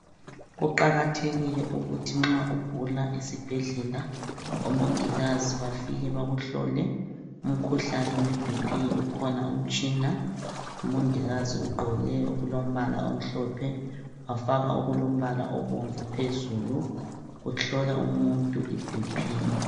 Kuqakathekile ukuthi nxa ugula esibheldlela omongikazi bafike bakuhlole umkhuhlane we BP ukhona umtshina umongikazi ugqoke okulombala omhlophe wafaka okulombala obomvu phezulu uhlola umuntu iBP.